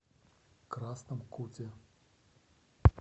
красном куте